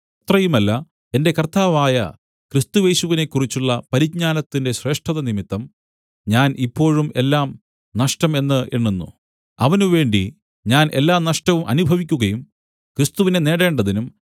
അത്രയുമല്ല എന്റെ കർത്താവായ ക്രിസ്തുയേശുവിനെക്കുറിച്ചുള്ള പരിജ്ഞാനത്തിന്റെ ശ്രേഷ്ഠതനിമിത്തം ഞാൻ ഇപ്പോഴും എല്ലാം നഷ്ടം എന്ന് എണ്ണുന്നു അവനുവേണ്ടി ഞാൻ എല്ലാ നഷ്ടവും അനുഭവിക്കുകയും ക്രിസ്തുവിനെ നേടേണ്ടതിനും